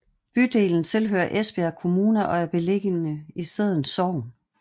Bydelen tilhører Esbjerg Kommune og er beliggende i Sædden Sogn